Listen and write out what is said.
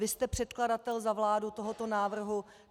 Vy jste předkladatel za vládu tohoto návrhu.